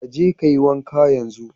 Ka je ka yi wanka yenzu!